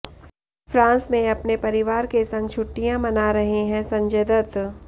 France में अपने परिवार के संग छुट्टियां मना रहे है संजय दत्त